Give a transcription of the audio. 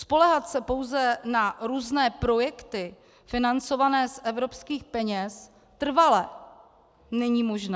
Spoléhat se pouze na různé projekty financované z evropských peněz trvale není možné.